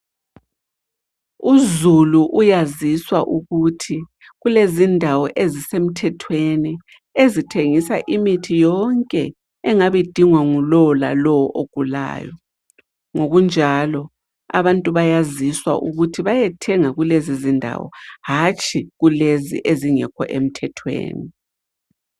Uzulu uyaziswa ukuthi kulezindawo kulezindawo ezisemthethweni ezithengisa imithi yonke engabe idingwa ngulowo lalowo ogulayo. Ngokunjalo, abantu bayaziswa ukuthi bayethenga kulezizindawo hatshi kulezi ezingekho emthethweni.